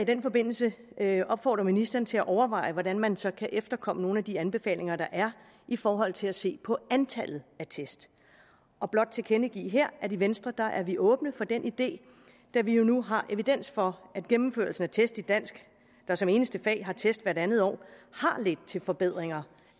den forbindelse vil jeg opfordre ministeren til at overveje hvordan man så kan efterkomme nogle af de anbefalinger der er i forhold til at se på antallet af test og blot tilkendegive her at i venstre er vi åbne for den idé da vi jo nu har evidens for at gennemførelsen af test i dansk der som eneste fag har test hvert andet år har ledt til forbedringer